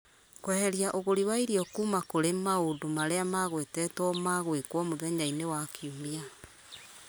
kweheria ũgũri wa irio kuma kũrĩ maũndũ marĩa magwetetwo ma gwĩkwo mũthenya-inĩ wa kiumia